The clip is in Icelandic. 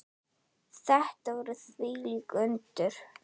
Þetta voru þvílík undur.